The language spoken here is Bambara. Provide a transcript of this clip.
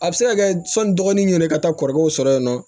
A bɛ se ka kɛ sɔni dɔgɔnin ɲɛna i ka taa kɔrɔkɛw sɔrɔ yen nɔ